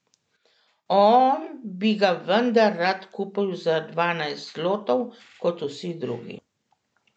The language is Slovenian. On bi ga vendar rad kupil za dvanajst zlotov, kot vsi drugi.